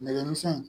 Nɛgɛsɛn